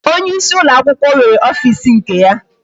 Onyeisi ụlọakwụkwọ nwere ofisi nke ya